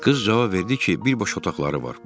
Qız cavab verdi ki, bir baş otaqları var.